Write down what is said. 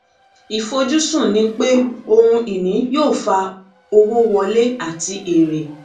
ìfojúsùn ni pé ohun ìní yóò fa owó wọlé àti èrè